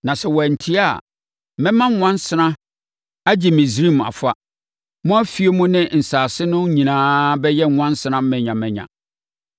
Na sɛ wantie a, mɛma nwansena agye Misraim afa. Mo afie mu ne asase no nyinaa bɛyɛ nwansena manyamanya.